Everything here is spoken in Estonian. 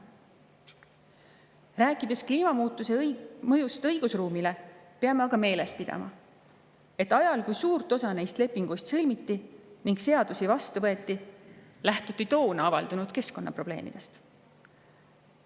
Kui rääkida kliimamuutuse mõjust õigusruumile, peame aga meeles pidama seda, et ajal, kui suurt osa neist lepinguist sõlmiti ning seadusi vastu võeti, lähtuti toona avaldunud keskkonnaprobleemidest.